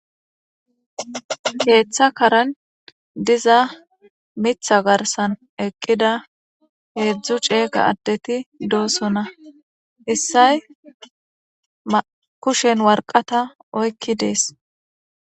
Keeththa karen diza mitha garsan eqqida heedzdzu ceeqa addeti doosona issay akushen warqata oykki dees.